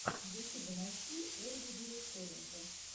в ютюбе найти ольгу директоренко